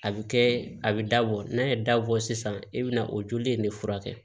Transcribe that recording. A bɛ kɛ a bɛ dabɔ n'a ye dabɔ sisan i bɛ na o joli in de furakɛ